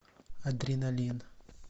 адреналин